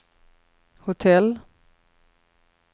hotell